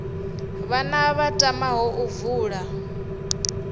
vhana vha tamaho u vula